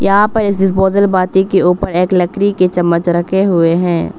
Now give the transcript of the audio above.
यहां पर एक डिस्पोजल बाटी के ऊपर एक लकड़ी के चम्मच रखे हुए हैं।